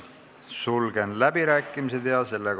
Sulgen läbirääkimised.